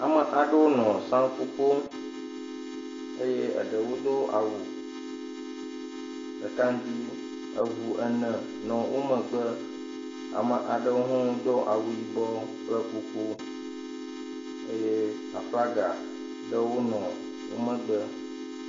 Ame aɖewo nɔ saŋku ƒom eye eɖwo do awu ɖeka ŋgbii. Eŋu ene nɔ wo megbe. Ame aɖewo hã wodo awu yibɔɔ kple kuku eye aflaga ɖewo nɔ wo megbe.